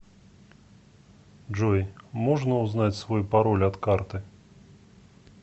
джой можно узнать свой пароль от карты